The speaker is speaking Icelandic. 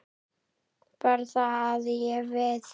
Bara það að ég. við.